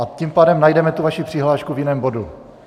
A tím pádem najdeme tu vaši přihlášku v jiném bodu.